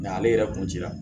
Nga ale yɛrɛ kun cira